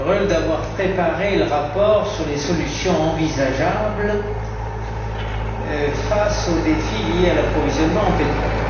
Reul d'avoir préparé le rapport sur les solutions envisageables face aux défis liés à l'approvisionnement en pétrole.